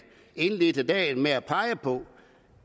indledte dagen med at pege på